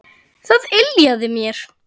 Það yljaði mér.